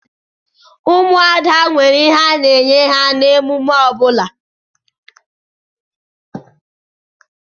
Ụmụada nwere ihe a na-enye ha na-emume ọbula.